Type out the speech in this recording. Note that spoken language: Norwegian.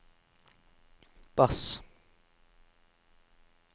bass